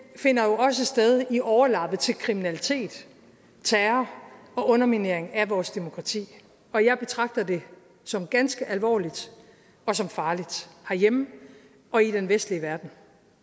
finder jo også sted i overlappet til kriminalitet terror og underminering af vores demokrati og jeg betragter det som ganske alvorligt og som farligt herhjemme og i den vestlige verden